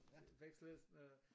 Vekslede øh